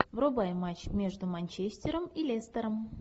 врубай матч между манчестером и лестером